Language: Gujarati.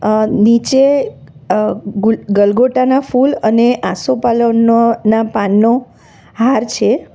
અહ નીચે અહ ગુલ ગલગોટા ના ફૂલ અને આસોપાલવના ના પાનનો હાર છે.